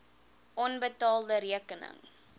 onbetaalde rekeninge